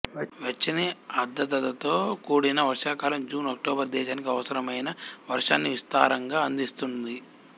వెచ్చని ఆర్ధ్రతతో కూడిన వర్షాకాలం జూన్ అక్టోబరు దేశానికి అవసరమైన వర్షాన్ని విస్తారంగా అందిస్తుంది